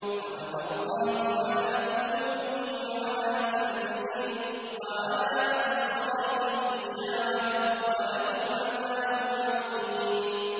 خَتَمَ اللَّهُ عَلَىٰ قُلُوبِهِمْ وَعَلَىٰ سَمْعِهِمْ ۖ وَعَلَىٰ أَبْصَارِهِمْ غِشَاوَةٌ ۖ وَلَهُمْ عَذَابٌ عَظِيمٌ